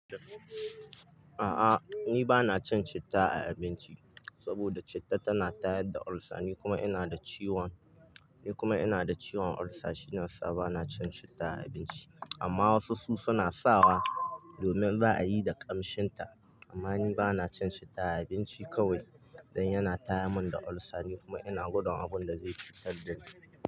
A'a ni bana cin citta a abinci saboda citta tana tayar da ulsa ni kuma ina da ciwon, ni kuma ina da ciwon ulsa shiya sa bana cin citta a abinci. Amma wasu su na sawa domin za'a yi da ƙamshinta amma ni bana cin citta a abinci kawai dan yana taya mun da ulsa ni kuma ina gudun abun da zai fitar da ni.